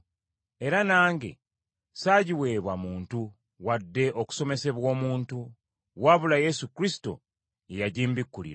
era nange saagiweebwa muntu wadde okusomesebwa omuntu wabula Yesu Kristo ye yagimbikkulira.